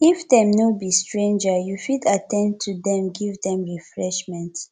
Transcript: if dem no be stranger you fit at ten d to dem give dem refreshment